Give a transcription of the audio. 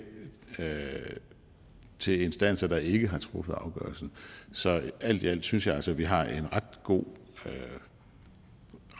klage til instanser der ikke har truffet afgørelsen så alt i alt synes jeg altså at vi også har en ret god